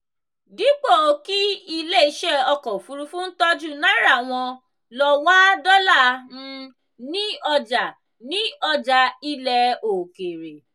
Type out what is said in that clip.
dípò kí ilé iṣẹ́ ọkọ̀ òfuurufú ń tọ́jú náírà wọ́n lọ wá dọ́là um ní ọjà ní ọjà ilẹ̀ òkèèrè.